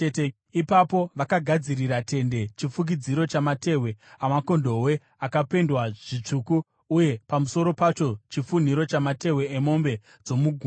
Ipapo vakagadzirira tende chifukidzo chamatehwe amakondobwe akapendwa zvitsvuku, uye pamusoro pacho chifunhiro chamatehwe emombe dzomugungwa.